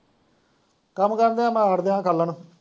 ਕੰਮ ਕਰਨ ਦਿਆਂ ਅੱਠ ਦਸਾਂ ਸਾਲਾਂ ਤੋਂ